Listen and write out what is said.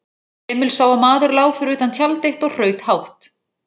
Emil sá að maður lá fyrir utan tjald eitt og hraut hátt.